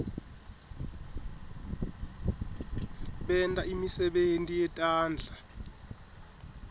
benta imisebenti yetandla